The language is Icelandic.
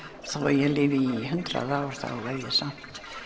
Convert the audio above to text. ég lifi í hundrað ár þá verð ég samt